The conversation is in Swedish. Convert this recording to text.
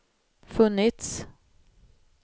funnits